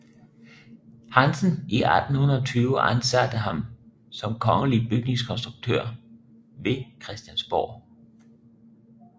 Hansen i 1820 ansatte ham som kongelig bygningskonduktør ved Christiansborg